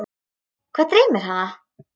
Hvað dreymir hana?